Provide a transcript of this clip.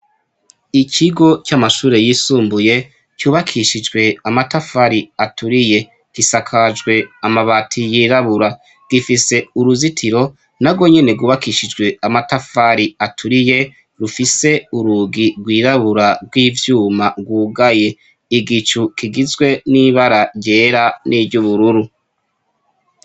Ikigo c'amashure yisumbuye kyubakishijwe amatafari aturiye gisakajwe amabati yirabura gifise uruzitiro na gwo nyene gubakishijwe amatafari aturiye rufise urugi rwirabura rw'ivyuma ngugaye igicu kigizwe n'iba bara jera n'ijyo ubururu.